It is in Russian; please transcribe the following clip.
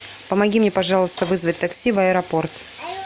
помоги мне пожалуйста вызвать такси в аэропорт